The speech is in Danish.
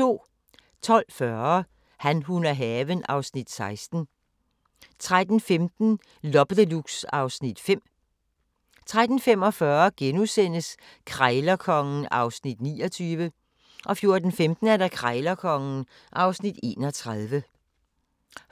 12:40: Han, hun og haven (Afs. 16) 13:15: Loppe Deluxe (Afs. 5) 13:45: Krejlerkongen (Afs. 29)* 14:15: Krejlerkongen (Afs. 31)